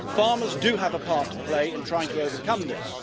Farmers do have a part to play in trying to overcome this.